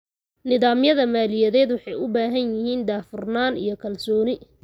Nidaamyada maaliyadeed waxay u baahan yihiin daahfurnaan iyo kalsooni.